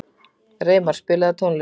Reimar, spilaðu tónlist.